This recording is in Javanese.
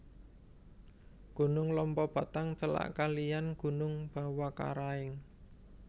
Gunung Lompobattang celak kaliyan Gunung Bawakaraeng